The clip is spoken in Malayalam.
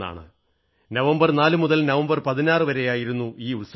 നവംബർ 4 മുതൽ നവംബർ 16 വരെയായിരുന്നു ഈ ഉത്സവം